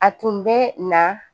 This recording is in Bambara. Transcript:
A tun bɛ na